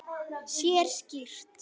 Sér skýrt.